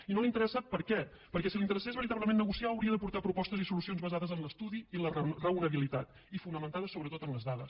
i no li interessa per què perquè si li interessés veritablement negociar hauria d’aportar propostes i solucions basades en l’estudi i la raonabilitat i fonamentades sobretot en les dades